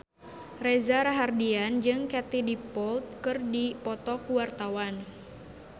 Reza Rahardian jeung Katie Dippold keur dipoto ku wartawan